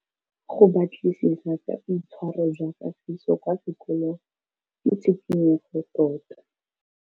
Go batlisisa ka boitshwaro jwa Kagiso kwa sekolong ke tshikinyêgô tota.